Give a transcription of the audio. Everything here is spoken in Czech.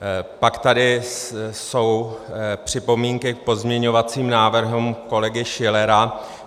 Pak tady jsou připomínky k pozměňovacím návrhům kolegy Schillera.